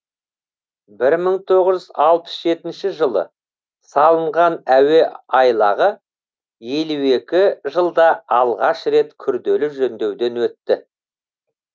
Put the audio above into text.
бір мың тоғыз жүз алпыс жетінші жылы салынған әуе айлағы елу екі жылда алғаш рет күрделі жөндеуден өтті